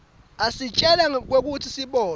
asitjela kwekutsi sibolwa